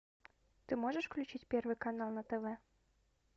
ты можешь включить первый канал на тв